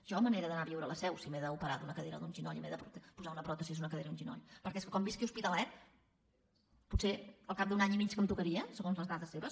jo me n’he d’anar a viure a la seu si m’he d’operar d’un maluc o d’un genoll si m’he de posar una pròtesi a un maluc o un genoll perquè com visqui a hospitalet potser al cap d’un any i mig que em tocaria segons les dades seves